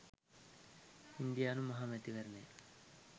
ඉන්දියානු මහ මැතිවරණය